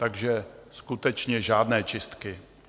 Takže skutečně žádné čistky.